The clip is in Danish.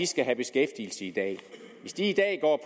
skal have beskæftigelse i dag hvis de i dag går